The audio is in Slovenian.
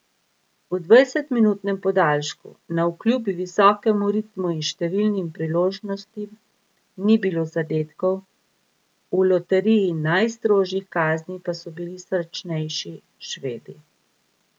V dvajsetminutnem podaljšku navkljub visokemu ritmu in številnim priložnostim ni bilo zadetkov, v loteriji najstrožjih kazni pa so bili srečnejši Švedi.